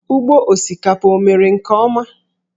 Ugbo osikapa o mere nke ọma?